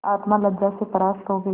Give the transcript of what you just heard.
आत्मा लज्जा से परास्त हो गयी